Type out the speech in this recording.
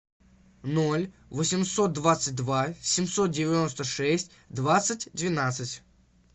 ноль восемьсот двадцать два семьсот девяносто шесть двадцать двенадцать